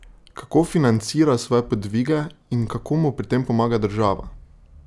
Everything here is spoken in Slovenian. Kako financira svoje podvige in kako mu pri tem pomaga država?